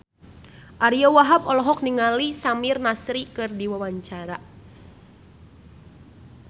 Ariyo Wahab olohok ningali Samir Nasri keur diwawancara